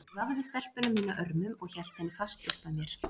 Ég vafði stelpuna mína örmum og hélt henni fast upp að mér.